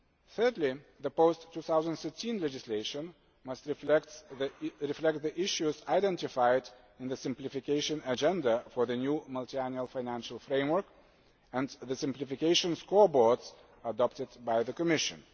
action. Thirdly, the post 2013 legislation must reflect the issues identified in the Simplification Agenda for the new Multiannual Financial Framework and the Simplification Scoreboards adopted by the Commission.